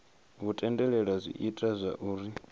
hu tendelela zwi ita zwauri